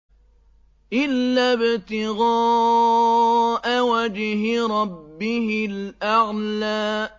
إِلَّا ابْتِغَاءَ وَجْهِ رَبِّهِ الْأَعْلَىٰ